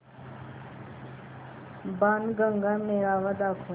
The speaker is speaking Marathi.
बाणगंगा मेळावा दाखव